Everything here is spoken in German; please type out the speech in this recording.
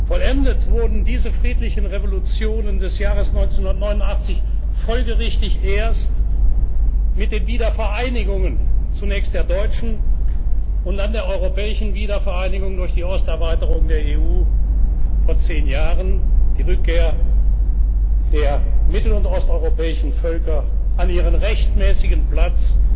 Vollendet wurden diese friedlichen Revolutionen des Jahres 1989 folgerichtig erst mit den Wiedervereinigungen zunächst der deutschen und dann der europäischen Wiedervereinigung durch die Osterweiterung der EU vor zehn Jahren, die Rückkehr der mittel und osteuropäischen Völker an ihren rechtmäßigen